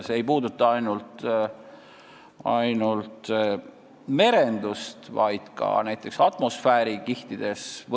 See ei puuduta ainult merendust, vaid sellist tehnoloogiat võidakse kasutada ka näiteks atmosfäärikihtides.